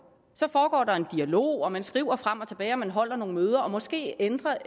så foregår der en dialog og man skriver frem og tilbage og man holder nogle møder og måske ender